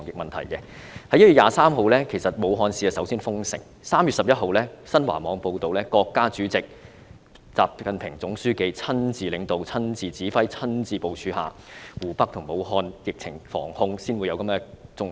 在1月23日，武漢市率先封城 ；3 月11日，新華網報道，在國家主席習近平總書記親自領導、親自指揮、親自部署下，湖北省和武漢市的疫情防控才取得重要成果。